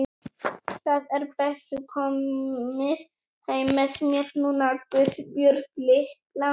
Það er best þú komir heim með mér núna, Guðbjörg litla.